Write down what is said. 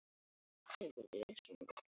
En hver er konan?